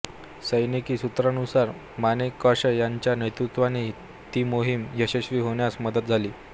सैनिकी सूत्रांनुसार माणेकशॉ यांच्या नेतृत्त्वाने ती मोहिम यशस्वी होण्यास मदत झाली